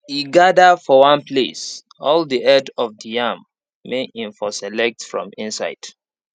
he gather for one place all the head of yam may him for select from inside